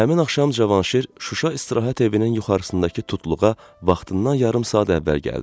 Və həmin axşam Cavanşir Şuşa istirahət evinin yuxarısındakı tutluğa vaxtından yarım saat əvvəl gəldi.